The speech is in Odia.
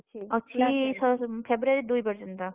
ଅଛି February ଦୁଇ ପର୍ଯନ୍ତ।